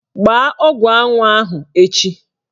Gbaa ọgwụ anwụ ahụ echi!